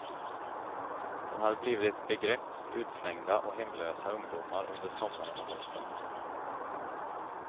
Den har blivit ett begrepp för utslängda och hemlösa ungdomar under sommaren och hösten.